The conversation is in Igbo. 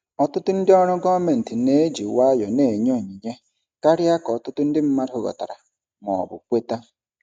Ọtụtụ ndị ọrụ gọọmentị na-eji nwayọọ na-enye onyinye karịa ka ọtụtụ ndị mmadụ ghọtara ma ọ bụ kweta.